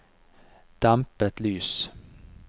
dempet lys